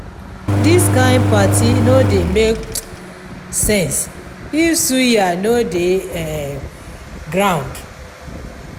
dis kain party no dey make um sense if suya no dey um ground